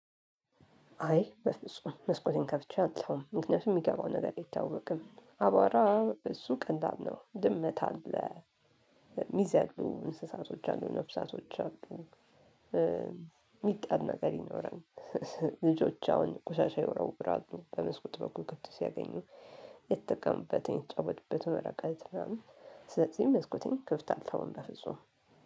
አይ በፍጹም መስኮቴን ከፍቼ አልተውም ምክንያቱም የሚገባው ነገር ይታወቅም አቧራ እሱ ቀላል ነው። ድመት አለ ሚዘሉ እንስሳቶች አሉ ነፍሳቶች አሉ። የሚጣል ነገር ይኖራል። ልጆች አሁን ቆሻሻ ይወረውራሉ በመስኮት በኩል ክፍት ሲያገኙ የተጠቀሙበትን የተጫወቱበትን ወረቀት ምናምን። ስለዚህ መስኮቴን ክፍት አልተውም በፍጹም